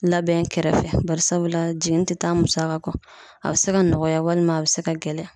Labɛn kɛrɛfɛ barisabula jiginni te taa musaka kɔ .A be se ka nɔgɔya walima a be se ka gɛlɛya.